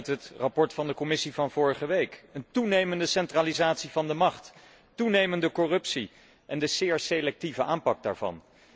Die bleken uit het rapport van de Commissie van vorige week een toenemende centralisatie van de macht, toenemende corruptie en de zeer selectieve aanpak daarvan.